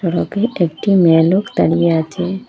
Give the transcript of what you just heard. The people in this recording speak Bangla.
একটি মেয়ে লোক দাঁড়িয়ে আছে।